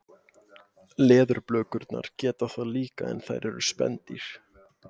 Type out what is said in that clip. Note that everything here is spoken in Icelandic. Leðurblökurnar geta það líka en þær eru spendýr.